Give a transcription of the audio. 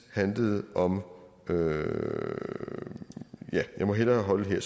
handlede om ja jeg må hellere holde her